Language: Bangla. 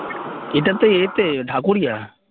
এটা তো এ তে ঢাকুরিয়া